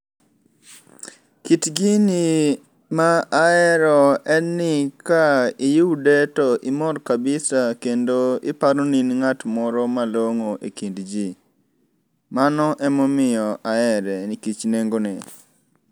Kit gini ma ahero en ni ka iyude to imor kabisa kendo iparo in ng'at moro malong'o e kind jii. Mano ema omiyo ahere nikech nengo ne.